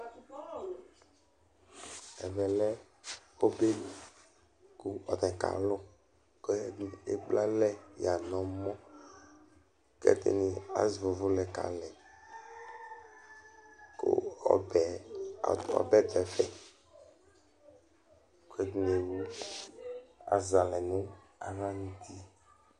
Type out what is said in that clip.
Ɛvɛlɛ ɔbɛli kʋ alu kalʋ Ɛɖìní ekplealɛ ɣa ŋu ɛmɔ Ɛɖìní azɛ uvʋ lɛ kalɛ Ɛɖìní azɛ alɛ ŋu aɣlali